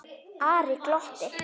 Ari glotti.